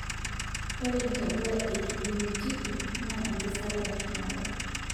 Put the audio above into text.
ore intapuka ee kijenitiki naa enkasare eshumata